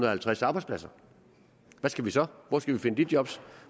og halvtreds arbejdspladser hvad skal vi så hvor skal vi finde de job